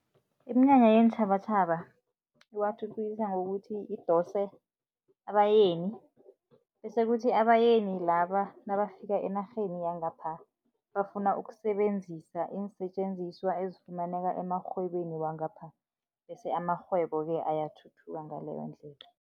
Iminyanya yeentjhabatjhaba iwathuthukisa ngokuthi idose abayeni bese kuthi abayeni laba nabafika enarheni yangapha, bafuna ukusebenzisa iinsetjenziswa ezifumaneka emarhwebeni wangapha bese amarhwebo-ke ayathuthuka ngaleyo ndlela.